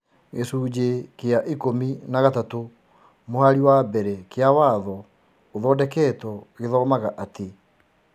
Gĩcunjĩ kĩa ikũmi na gatatũ mũhari wa mbere kĩa watho ũthondeketũo gĩthomaga atĩ,